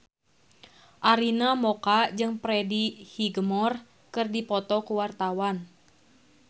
Arina Mocca jeung Freddie Highmore keur dipoto ku wartawan